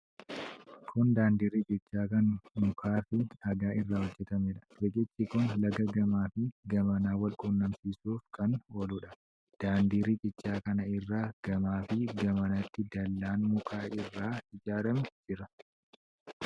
Kun daandii riqichaa kan mukaa fi dhagaa irraa ijaarameedha. Riqichi kun laga gamaa fi gamana wal qunnamsiisuuf kan ooludha. Daandii riqichaa kana irra gamaa fi gamanatti dallaan muka irraa ijaarame jira.